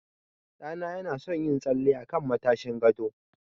Ɗa na ya na son yin tsalle a kan matashin gado